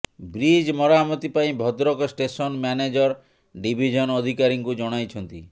bridge ମରାମତି ପାଇଁ Bhadrak station manager division ଅଧିକାରୀଙ୍କୁ ଜଣାଇଛନ୍ତି